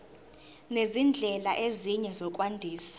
nezindlela ezinye zokwandisa